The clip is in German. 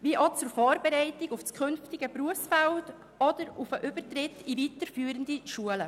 Er dient auch der Vorbereitung auf das künftige Berufsfeld oder dem Übertritt in weiterführende Schulen.